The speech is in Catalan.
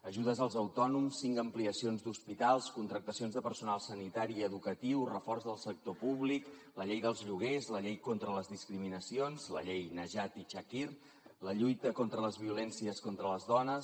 ajudes als autònoms cinc ampliacions d’hospitals contractacions de personal sanitari i educatiu reforç del sector públic la llei dels lloguers la llei contra les discriminacions la llei najat i chakir la lluita contra les violències contra les dones